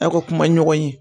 Aw ka kuma ɲɔgɔn ye